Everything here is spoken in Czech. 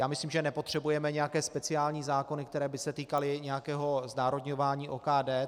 Já myslím, že nepotřebujeme nějaké speciální zákony, které by se týkaly nějakého znárodňování OKD.